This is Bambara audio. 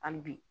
Hali bi